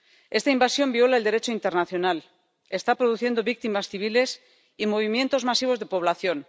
Esta invasión viola el Derecho internacional, está produciendo víctimas civiles y movimientos masivos de población.